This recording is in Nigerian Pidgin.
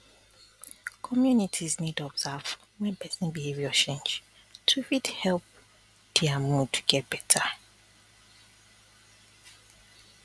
communities need observe wen person behavior change to fit help dia mood get better